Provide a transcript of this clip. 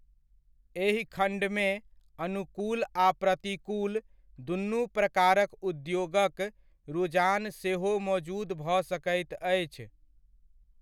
एहि खण्डमे, अनुकूल आ प्रतिकूल दुनू प्रकारक उद्योगक रुझान सेहो मोजुद भऽ सकैत अछि।